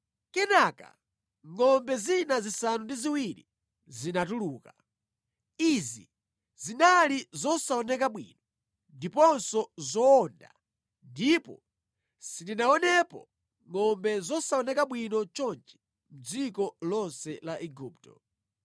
Kenaka, ngʼombe zina zisanu ndi ziwiri zinatuluka. Izi zinali zosaoneka bwino ndiponso zowonda ndipo sindinaonepo ngʼombe zosaoneka bwino chonchi mʼdziko lonse la Igupto.